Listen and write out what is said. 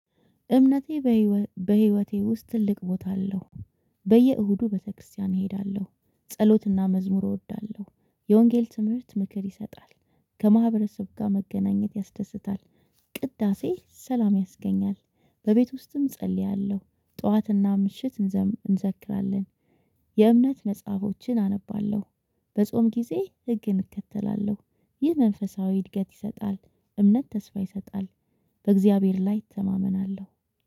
እምነቴ በህይወቴ ውስጥ ትልቅ ቦታ አለው። በየእሁዱ ቤተክርስቲያን እሄዳለሁ ጸሎትና መዝሙር እወዳለሁ የወንጌል ትምህርት ምክር ይሰጣል። ከማህበረሰብ ጋር መገናኘት ያስደስታል። ቅዳሴ ሰላም ያስገኛል። በቤት ውስጥም እጸልያለሁ ጠዋትና ምሽት እንዘክራለን። የእምነት መጽሐፎችን አነባለሁ። በጾም ጊዜ ህግን እከተላለሁ ይህ መንፈሳዊ እድገት ይሰጣል። እምነት ተስፋ ይሰጣል። በእግዚአብሔር ላይ እተማመናለሁ